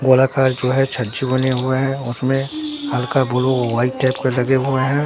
गोलाकार जो है छज्जे बने हुए हैं उसमें हल्का ब्लू व्हाइट टाइप का लगे हुए हैं।